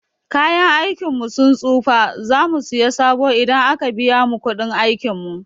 Kayan aikin mu sun tsufa, za mu siya sabo idan a ka biya mu kuɗin aikin mu.